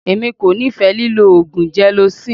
Èmi kò nífẹ̀ẹ́ lílọ oògùn gelocin.